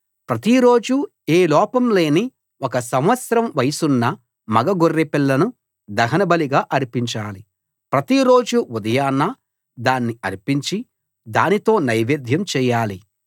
ప్రతి రోజు ఏ లోపం లేని ఒక సంవత్సరం వయసున్న మగ గొర్రెపిల్లను దహనబలిగా అర్పించాలి ప్రతి రోజు ఉదయాన దాన్ని అర్పించి దానితో నైవేద్యం చేయాలి